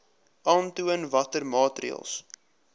aantoon watter maatreëls